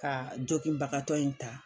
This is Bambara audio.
Ka jokinbagatɔ in ta.